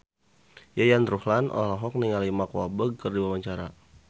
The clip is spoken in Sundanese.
Yayan Ruhlan olohok ningali Mark Walberg keur diwawancara